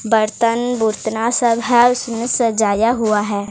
बर्तन बुरतना सब है उसमें सजाया हुआ है।